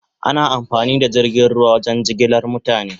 Ana amfani da jirgin ruwa wajen jigilar mutane